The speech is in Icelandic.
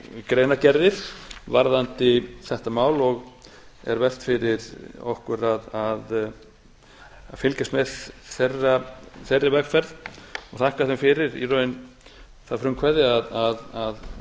greinargerðir varðandi þetta mál og er vert fyrir okkur að fylgjast með þeirri vegferð og þakka þeim fyrir í raun það frumkvæði að